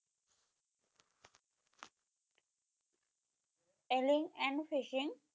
Angling and fishing